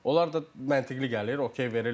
Onlar da məntiqə gəlir, ok verirlər.